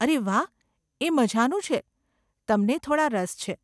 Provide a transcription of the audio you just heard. અરે વાહ, એ મઝાનું છે, તમને થોડાં રસ છે.